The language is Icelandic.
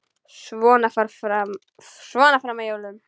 Svona fram að jólum.